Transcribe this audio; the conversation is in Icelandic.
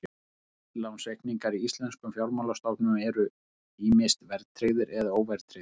Innlánsreikningar í íslenskum fjármálastofnunum eru ýmist verðtryggðir eða óverðtryggðir.